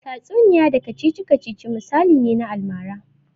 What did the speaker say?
Tatsuniya da kacici-kacici misali ne na almara.